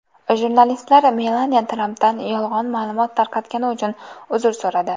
Jurnalistlar Melaniya Trampdan yolg‘on ma’lumot tarqatgani uchun uzr so‘radi.